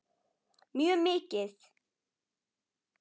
Mjög mikið.